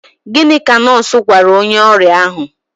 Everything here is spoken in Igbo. Gịnị ka nọọsụ gwara onye ọrịa ahụ?